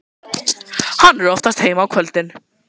Hann er oftast heima á kvöldin.